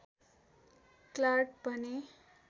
Clark भने